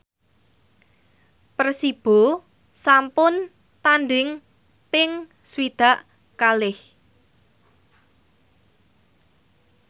Persibo sampun tandhing ping swidak kalih